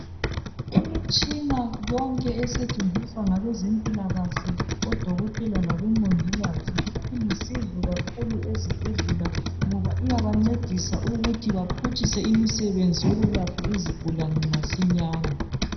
Imitshina yonke esetshenziswa ngabezempilakahle odokotela labomongikazi ilusizo kakhulu ezibhedlela ngoba iyabancedisa ukuthi baphutshise imisebenzi yokwelapha izigulane masinyane.